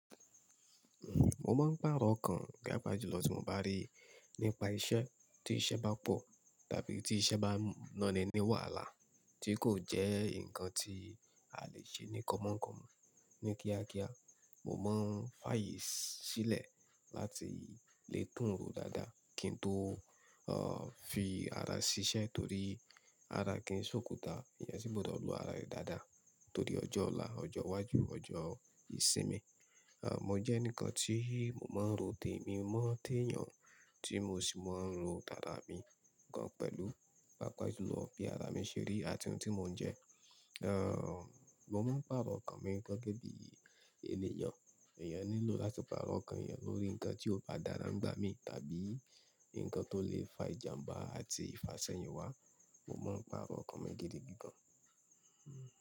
Mo máa ń pàrọ̀ ókan papa jùlọ tí mo bá rí nípa iṣẹ́, tí iṣẹ́ bá pọ̀ tàbí tí iṣẹ́ bá nọ́ni ní wàhálà tí kò jẹ́ nǹkan tí a lè ṣe ní kọ̀mọ̀ kọ̀mọ̀ ni kíákíá. Mo máa ń fàyè sílẹ̀ láti lè tún rò dáadáa kí n tó, fi ara ṣiṣẹ́ torí ara kì í sòkúta. Ìyẹn sì gbọdọ̀ lo ara ẹ dáadáa torí ọjọ́ ọ̀la, ọjọ́ iwájú, ọjọ́ ìsinmi. Mo jẹ́ ènìkàn tí mo máa ń ro tèmi mọ́ téyàn tí mo sì máa ń ro tàra mi gan pẹ̀lú, pàápàá jùlọ bí ara mi ṣe rí àti ohun tí mo ń jẹ́. Mo máa ń pàrọ̀ ókan mi gẹ́gẹ́ bí ènìyàn. Èèyàn nílò láti pàrọ̀ ókan èèyàn lórí nǹkan tí ó bá dára ń gbá mi tàbí nǹkan tó lè fa ìjàmbá àti ìfàṣẹ́yìn wá. Mo máa ń pàrọ̀ ókan mi gidigí gàn.